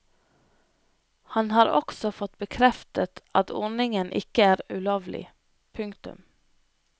Han har også fått bekreftet at ordningen ikke er ulovlig. punktum